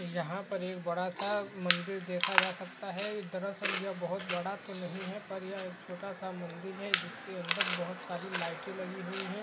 यहाँ पर एक बड़ा सा मन्दिर देखा जा सकता है। दरअसल यह बहोत बड़ा तो नहीं है पर यह एक छोटा सा मंदिर है जिसके अंदर बहोत सारी लाइटें लगी हुई हैं।